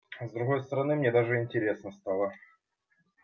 с другой стороны мне даже интересно стало